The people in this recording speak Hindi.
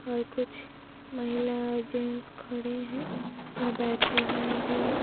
और कुछ महिला जेन्ट्स खड़े हैं अ बेठे हुए भी हैं।